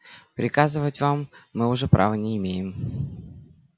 приказывать вам мы уже права не имеем